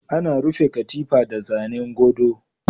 Ana rufe katifa da zanen godo.